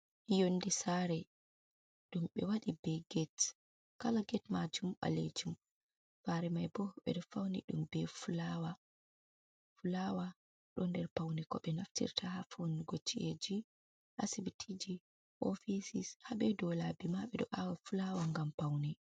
Yonde saare, ɗum ɓe waɗi be get, kala get maajum ɓaleejum, saare mai ɓo ɓe ɗo fauni ɗum be fulaawa, fulaawa ɗo nder paune ko ɓe naftirta ha faunugo ci’eji, ha asibitiiji, ofisis, haa be dow laabi ma ɓe ɗo aawa fulaawa ngam paune.